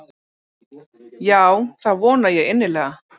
Já það vona ég innilega.